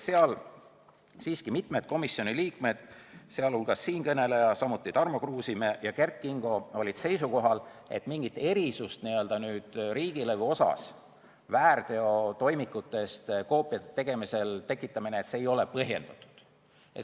Seal olid mitmed komisjoni liikmed, sh siinkõneleja, samuti Tarmo Kruusimäe ja Kert Kingo seisukohal, et mingi erisuse tekitamine riigilõivu puhul väärteotoimikutest koopiate tegemise korral ei ole põhjendatud.